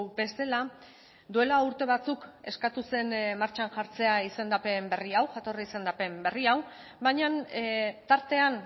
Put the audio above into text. bezala duela urte batzuk eskatu zen martxan jartzea izendapen berri hau jatorri izendapen berri hau baina tartean